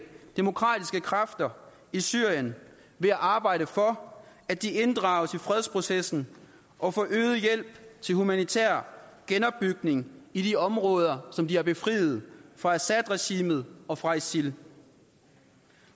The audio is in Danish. demokratiske kræfter i syrien ved at arbejde for at de inddrages i fredsprocessen og for øget hjælp til humanitær genopbygning i de områder som de har befriet fra assadregimet og fra isil